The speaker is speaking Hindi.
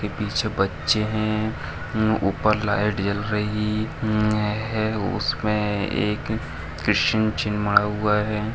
पीछे बच्चे है ऊपर लाइट जल रही है उसमें एक क्वेशन चिन्ह मड़ा हुआ है।